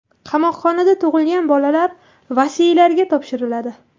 Qamoqxonada tug‘ilgan bolalar vasiylariga topshiriladi.